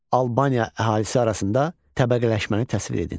Albaniya əhalisi arasında təbəqələşməni təsvir edin.